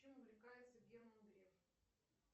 чем увлекается герман греф